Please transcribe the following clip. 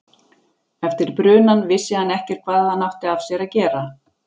Eftir brunann vissi hann ekkert hvað hann átti af sér að gera.